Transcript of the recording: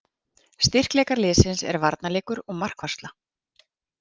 Styrkleikar liðsins er varnarleikur og markvarsla.